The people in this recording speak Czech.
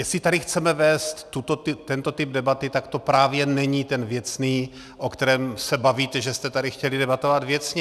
Jestli tady chceme vést tento typ debaty, tak to právě není ten věcný, o kterém se bavíte, že jste tady chtěli debatovat věcně.